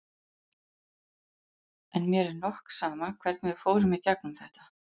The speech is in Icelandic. En mér er nokk sama hvernig við fórum í gegnum þetta.